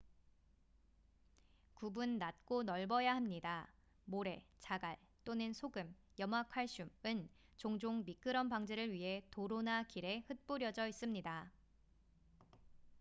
굽은 낮고 넓어야 합니다. 모래 자갈 또는 소금염화칼슘은 종종 미끄럼 방지를 위해 도로나 길에 흗뿌려져 있습니다